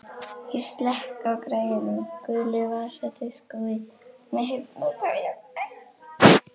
Ég slekk á græjunum, gulu vasadiskói með heyrnartólum.